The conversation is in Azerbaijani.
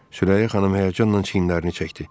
Sürəyya xanım həyəcanla çiyinlərini çəkdi.